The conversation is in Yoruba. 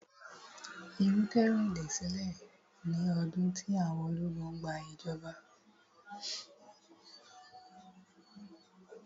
ìrúkèrudo ṣẹlẹ̀ ní ọdún tí àwọn ológun gba ìjọba.